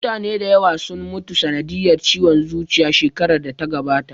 Mutane da yawa sun mutu sanadiyar ciwon zuciya shekarar da ta gabata